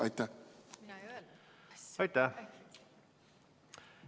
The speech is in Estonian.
Aitäh!